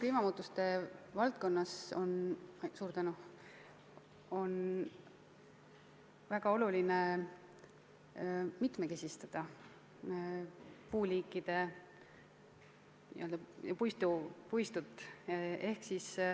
Kliimamuutuste tingimustes on väga oluline mitmekesistada puuliikide n-ö puistut.